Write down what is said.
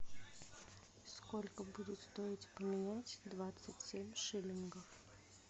сколько будет стоить поменять двадцать семь шиллингов